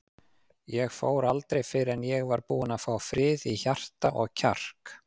Ég fór aldrei fyrr en ég var búinn að fá frið í hjarta og kjark.